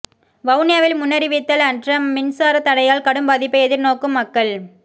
வவுனியாவில் முன்னறிவித்தல் அற்ற மின்சார தடையால் கடும் பாதிப்பை எதிர்நோக்கும் மக்கள்